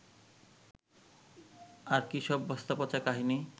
আর কী সব বস্তাপচা কাহিনি